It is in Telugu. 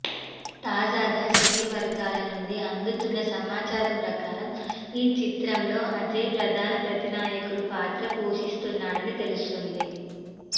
తాజాగా సినీ వర్గాల నుండి అందుతున్న సమాచారం ప్రకారం ఈ చిత్రంలో అజయ్ ప్రధాన ప్రతినాయకుడి పాత్ర పోషిస్తున్నాడని తెలుస్తోంది